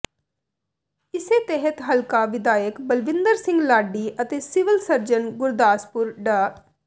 ਇਸੇ ਤਹਿਤ ਹਲਕਾ ਵਿਧਾਇਕ ਬਲਵਿੰਦਰ ਸਿੰਘ ਲਾਡੀ ਅਤੇ ਸਿਵਲ ਸਰਜਨ ਗੁਰਦਾਸਪੁਰ ਡਾ